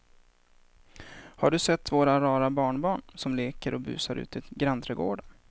Har du sett våra rara barnbarn som leker och busar ute i grannträdgården!